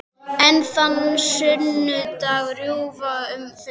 En þennan sunnudag rjúfa þau kyrrðina.